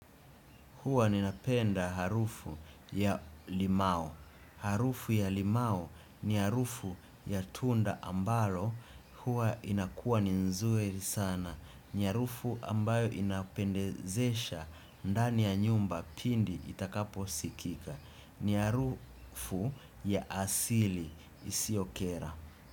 Huwa ninapenda harufu ya limao. Harufu ya limao ni harufu ya tunda ambalo huwa inakua ninzuri sana. Niharufu ambayo inapendezesha ndani ya nyumba pindi itakapo sikika. Niharufu ya asili isiyokera.